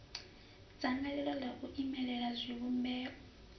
dzangalelo ḽa u imelela zwivhumbeo